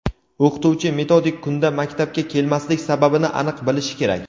O‘qituvchi metodik kunda maktabga kelmaslik sababini aniq bilish kerak.